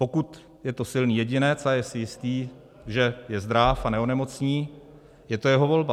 Pokud je to silný jedinec a je si jistý, že je zdráv a neonemocní, je to jeho volba.